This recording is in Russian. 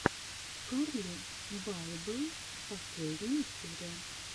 карли байбел последняя серия